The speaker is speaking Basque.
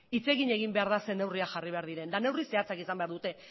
hitz egin behar da zer neurriak jarri behar diren eta neurri zehatzak izan behar dute